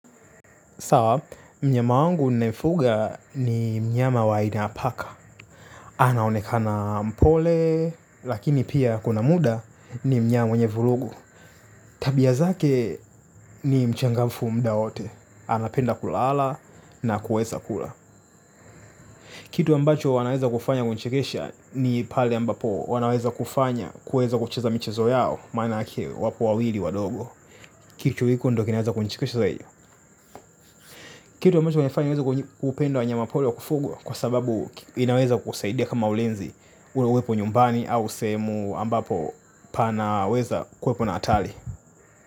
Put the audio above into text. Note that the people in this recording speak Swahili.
Sawa, mnyama wangu nafuga ni mnyama wa aina ya paka. Anaonekana mpole, lakini pia kuna muda ni mnyama wenye vurugu. Tabia zake ni mchangafu muda wote. Anapenda kulala na kueza kula. Kitu ambacho wanaweza kufanya kunichekesha ni pale ambapo wanaweza kufanya kueza kucheza michezo yao, maana aki wapo wawili wadogo. Kitu hiko ndio kinaweza kunichekesha zaidi. Kitu ambacho kinanifanya ni weza kupenda wanyama pori wa kufugwa. Kwa sababu inaweza kukusaidia kama ulinzi. Ule uwepo nyumbani au sehemu ambapo panaweza kuwepo na hatari.